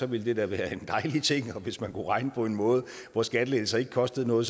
ville det være være en dejlig ting og hvis man kunne regne på en måde hvor skattelettelser ikke kostede noget